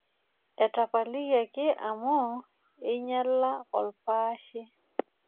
Etapalikiaki amu einyala olpaashe.